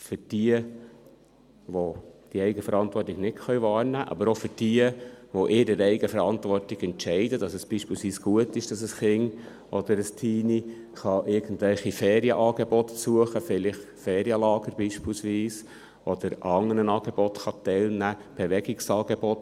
für jene, welche die Eigenverantwortung nicht wahrnehmen können, aber auch für jene, die in ihrer Eigenverantwortung entscheiden, dass es beispielsweise gut ist, dass ein Kind oder ein Teenie irgendwelche Ferienangebote besuchen kann – beispielsweise vielleicht ein Ferienlager – oder an anderen Angeboten teilnehmen kann.